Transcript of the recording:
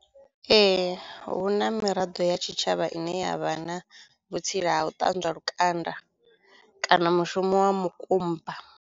Ee hu na miraḓo ya tshitshavha ine yavha na vhutsila ha u ṱanzwa lukanda kana mushumo wa mukumba.